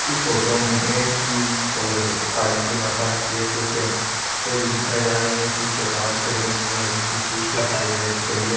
इस photo में गणेश जी और कालकी माता के कुछ स्टेचू दिखाए जा रहे है पीछे पहाड़ से बने हुए है पीछे स्टेज पर एक लड़की खड़ी है।